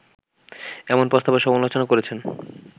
এমন প্রস্তাবের সমালোচনা করেছেন